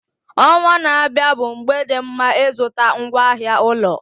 Ọnwa na-abịa bụ mgbe dị mma ịzụta ngwaahịa ụlọ